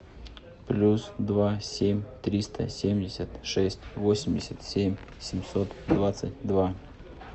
плюс два семь триста семьдесят шесть восемьдесят семь семьсот двадцать два